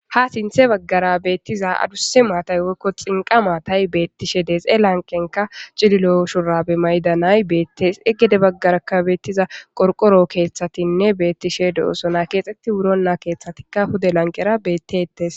Ha sinthe baggara beettiza aduse maatay woykko xinqa maatay beettishe deexe lanqenka cililo shurabe maydanay beettes egede baggarakabettiza qorqoro keeththatinne beettishe de'oosona keexetti wuro naa keeththatikka hude lanqera beettetes.